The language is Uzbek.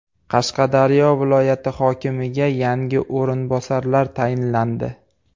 Qashqadaryo viloyati hokimiga yangi o‘rinbosarlar tayinlandi.